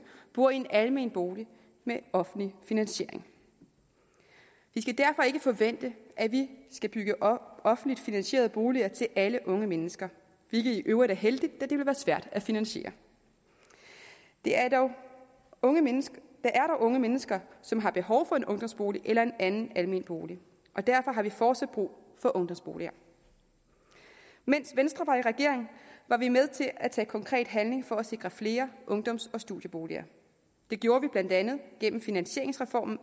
bor i en almen bolig med offentlig finansiering vi skal derfor ikke forvente at vi skal bygge offentligt finansierede boliger til alle unge mennesker hvilket i øvrigt er heldigt da det ville være svært at finansiere der er dog unge mennesker unge mennesker som har behov for en ungdomsbolig eller en anden almen bolig og derfor har vi fortsat brug for ungdomsboliger mens venstre var i regering var vi med til at tage konkret handling for at sikre flere ungdoms og studieboliger det gjorde vi blandt andet gennem finansieringsreformen